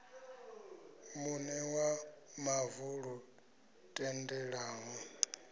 muṋe wa mavu lu tendelaho